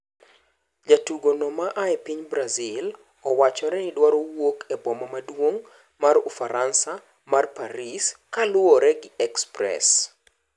Jatugo no ma aa epiny Brazil owachore ni dwaro wuok e boma maduong' mar ufaransa mar Paris kaluore gi Express